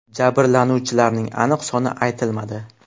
Jabrlanuvchilarning aniq soni aytilmadi.